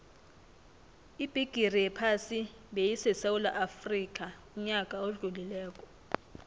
ibigixi yephasi beyisesewula afxica uyaka odlulile